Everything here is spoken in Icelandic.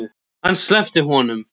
Hann sleppti honum!